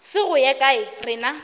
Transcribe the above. se go ye kae rena